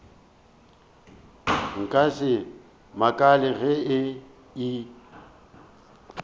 nka se makale ge e